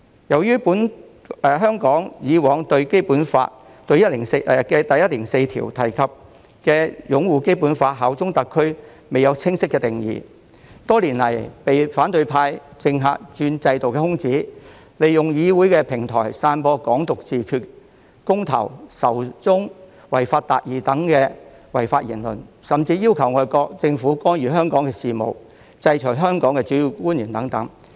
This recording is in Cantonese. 由於香港以往對《基本法》第一百零四條中提及的"擁護《基本法》和效忠特區"均未有清晰的定義，多年來被反對派及政客鑽制度的空子，利用議會平台散播"港獨自決"、公投、仇中及"違法達義"等違法言論，甚至要求外國政府干預香港事務、制裁香港的主要官員等。